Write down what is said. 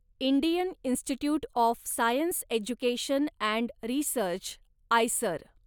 Indian institute of science education and research, IISER